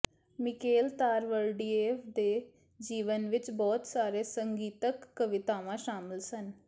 Mikael Tariverdiev ਦੀ ਜੀਵਨੀ ਵਿੱਚ ਬਹੁਤ ਸਾਰੇ ਸੰਗੀਤਕ ਕਵਿਤਾਵਾਂ ਸ਼ਾਮਲ ਸਨ